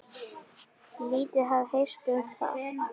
Lítið hafi heyrst um það.